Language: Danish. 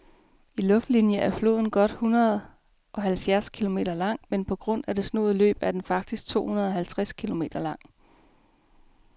I luftlinie er floden godt hundredeoghalvfjerds kilometer lang, men på grund af det snoede løb er den faktisk tohundredeoghalvtreds kilometer lang.